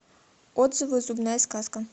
отзывы зубная сказка